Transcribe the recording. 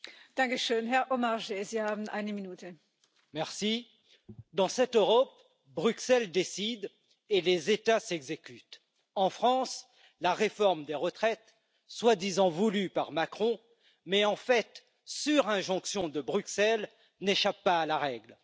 Madame la Présidente, dans cette Europe, Bruxelles décide et les États s'exécutent. En France, la réforme des retraites, soi disant voulue par Macron mais en fait sur injonction de Bruxelles, n'échappe pas à la règle.